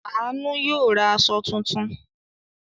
Àánú yóò ra aṣọ tuntun.